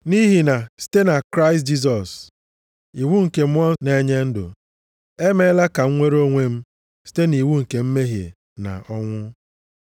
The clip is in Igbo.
Nʼihi na site na Kraịst Jisọs iwu nke Mmụọ na-enye ndụ emeela ka m nwere onwe m site nʼiwu nke mmehie na ọnwụ.